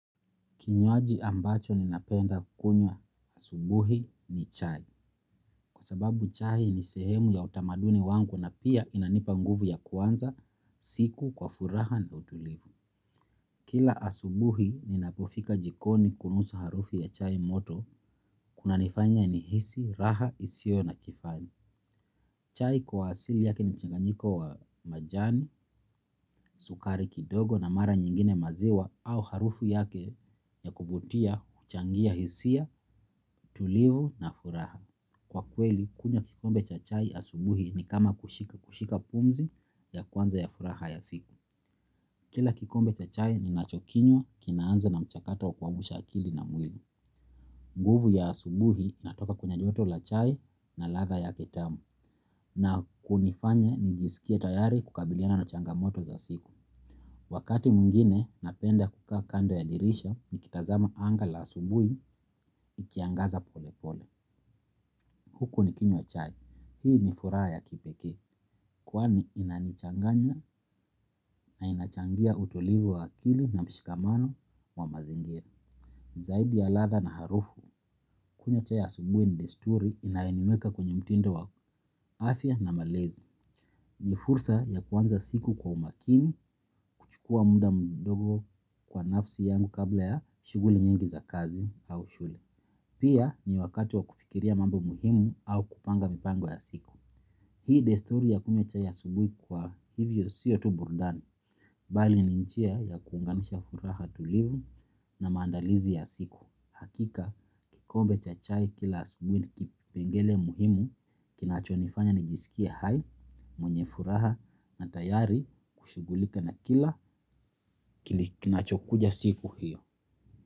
Kinywaji ambacho ninapenda kukunywa asubuhi ni chai. Kwa sababu chai ni sehemu ya utamaduni wangu na pia inanipa nguvu ya kuanza siku kwa furaha na utulivu. Kila asubuhi ninapofika jikoni kunusa harufi ya chai moto, kuna nifanya nihisi, raha, isiyo na kifani. Chai kwa asili yake ni mchanganyiko wa majani, sukari kidogo na mara nyingine maziwa au harufu yake ya kuvutia, huchangia hisia, tulivu na furaha. Kwa kweli, kunywa kikombe cha chai asubuhi ni kama kushika kushika pumzi ya kwanza ya furaha ya siku. Kila kikombe cha chai ninachokinywa kinaanza na mchakato wa kuamsha akili na mwili. Nguvu ya asubuhi inatoka kwenyejoto la chai na ladha yake tamu na kunifanya nijisikie tayari kukabiliana na changamoto za siku. Wakati mwingine napenda kukaa kando ya dirisha nikitazama anga la asubuhi likiangaza pole pole. Huku nikinywa chai hii ni furaha ya kipekee. Kwani inanichanganya na inachangia utulivu wa akili na mshikamano wa mazingira. Zaidi ya ladha na harufu, kunywa chai ya asubuhi ni desturi inayoniweka kwenye mtindo wa afya na malezi. Ni fursa ya kuanza siku kwa umakini, kuchukua muda mdogo kwa nafsi yangu kabla ya shughuli nyingi za kazi au shule. Pia ni wakati wa kufikiria mambo muhimu au kupanga mipango ya siku. Hii desturi ya kunywa chai asubuhi kwa hivyo sio tu burudani, bali ni njia ya kuunganisha furaha tulivu na maandalizi ya siku. Hakika, kikombe cha chai kila asubuhi ni kipengele muhimu, kinacho nifanya nijisikie hai, mwenye furaha na tayari kushughulika na kila kinacho kuja siku hiyo.